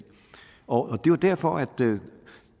og det er jo derfor at